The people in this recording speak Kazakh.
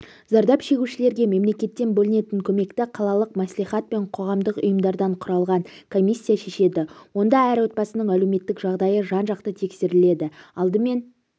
зардап шегушілерге мемлекеттен бөлінетін көмекті қалалық мәслихат пен қоғамдық ұйымдардан құралған комиссия шешеді онда әр отбасының әлеуметтік жағдайы жан-жақты тексеріледі алдымен